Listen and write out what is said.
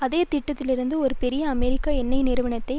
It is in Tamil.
அதே திட்டத்திலிருந்து ஒரு பெரிய அமெரிக்க எண்ணெய் நிறுவனத்தை